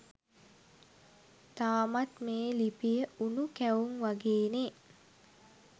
තාමත් මේ ලිපිය උණු කැවුම් වගේනේ